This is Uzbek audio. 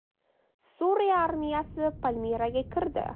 Suriya armiyasi Palmiraga kirdi.